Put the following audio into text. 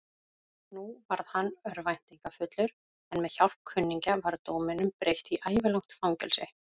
Nú varð hann örvæntingarfullur, en með hjálp kunningja var dóminum breytt í ævilangt fangelsi.